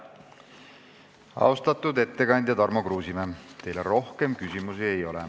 Austatud ettekandja Tarmo Kruusimäe, teile rohkem küsimusi ei ole.